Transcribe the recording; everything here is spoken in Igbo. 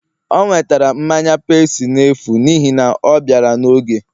o nwetere mmanya pepsi n'efu n'ihi na ọ bịara n'oge